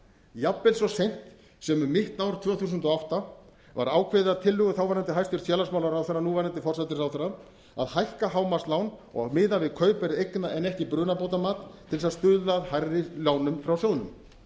jafnvel svo seint sem um mitt ár tvö þúsund og átta var ákveðið að tillögu þáverandi hæstvirtur félagsmálaráðherra núverandi forsætisráðherra að hækka hámarkslán og miðað við kaupverð eigna en ekki brunabótamat til að stuðla að hærri lánum frá sjóðnum